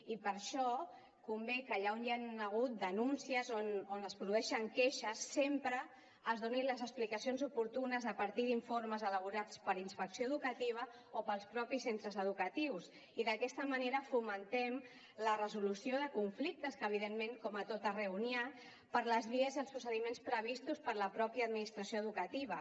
i per això convé que allà on hi han hagut denúncies on es produeixen queixes sempre es donin les explicacions oportunes a partir d’informes elaborats per inspecció educativa o pels mateixos centres educatius i d’aquesta manera fomentem la resolució de conflictes que evidentment com a tot arreu n’hi ha per les vies i els procediments previstos per la mateixa administració educativa